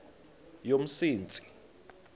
yomsintsi